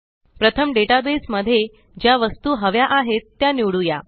प्रथम डेटाबेस मध्ये ज्या वस्तू हव्या आहेत त्या निवडूया